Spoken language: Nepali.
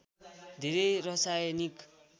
धेरै रसायनिक